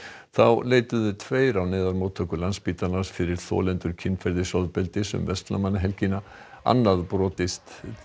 þá leituðu tveir á neyðarmóttöku Landspítalans fyrir þolendur kynferðisofbeldis um verslunarmannahelgina annað brotið